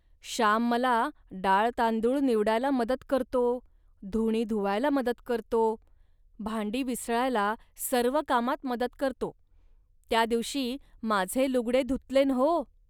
श्याम मला डाळतांदूळ निवडावयाला लागतो, धुणी धुवायला लागतो, भांडी विसळायला सर्व कामात मदत करतो. त्या दिवशी माझे लुगडे धुतलेन् हो